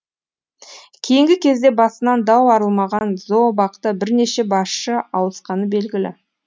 кейінгі кезде басынан дау арылмаған зообақта бірнеше басшы ауысқаны белгілі